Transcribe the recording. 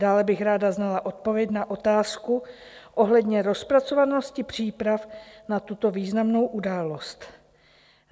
Dále bych ráda znala odpověď na otázku ohledně rozpracovanosti příprav na tuto významnou událost.